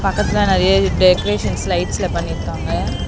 பக்கத்துல நெறைய டெக்கரேஷன்ஸ் லைட்ஸ்ல பண்ணிருக்காங்க.